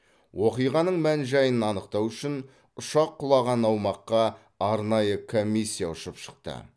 оқиғаның мән жайын анықтау үшін ұшақ құлаған аумаққа арнайы комиссия ұшып шықты